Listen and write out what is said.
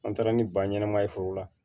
An taara ni ba ɲɛnɛma ye foro la